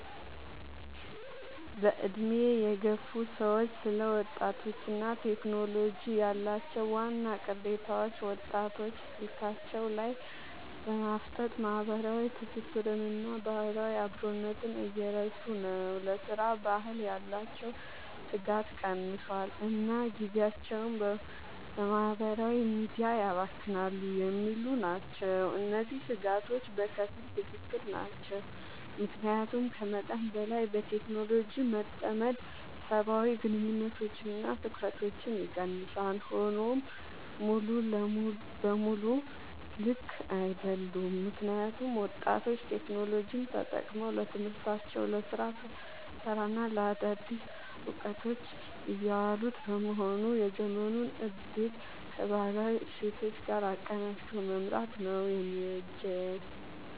በዕድሜ የገፉ ሰዎች ስለ ወጣቶችና ቴክኖሎጂ ያላቸው ዋና ቅሬታዎች፦ ወጣቶች ስልካቸው ላይ በማፍጠጥ ማህበራዊ ትስስርንና ባህላዊ አብሮነትን እየረሱ ነው: ለሥራ ባህል ያላቸው ትጋት ቀንሷል: እና ጊዜያቸውን በማህበራዊ ሚዲያ ያባክናሉ የሚሉ ናቸው። እነዚህ ስጋቶች በከፊል ትክክል ናቸው። ምክንያቱም ከመጠን በላይ በቴክኖሎጂ መጠመድ ሰብአዊ ግንኙነቶችንና ትኩረትን ይቀንሳል። ሆኖም ሙሉ በሙሉ ልክ አይደሉም: ምክንያቱም ወጣቶች ቴክኖሎጂን ተጠቅመው ለትምህርታቸው: ለስራ ፈጠራና ለአዳዲስ እውቀቶች እያዋሉት በመሆኑ የዘመኑን እድል ከባህላዊ እሴቶች ጋር አቀናጅቶ መምራት ነው የሚበጀው።